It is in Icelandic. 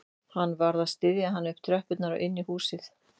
Hann varð að styðja hana upp tröppurnar og inn í húsið